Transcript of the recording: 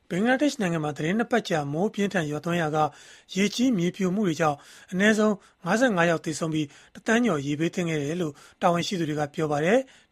ဘင်္ဂလားဒေ့ရှ်နိုင်ငံမှာ သီတင်း ၂ ပတ်ကြာ မိုးအပြင်းအထန် ရွာသွန်းခဲ့ရာက ရေကြီး၊ မြေပြိုမှုတွေကြောင့် အနည်းဆုံး ၅၅ ယောက် သေဆုံးပြီး၊ ၁ သန်းကျော် ရေဘေးသင့်ခဲ့ကြောင်း တာဝန်ရှိသူတွေက ပြောပါတယ်။